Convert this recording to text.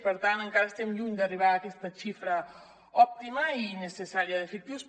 per tant encara estem lluny d’arribar a aquesta xifra òptima i necessària d’efectius